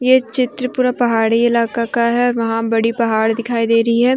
ये चित्र पूरा पहाड़ी इलाका का है वहां बड़ी पहाड़ दिखाई दे रही है।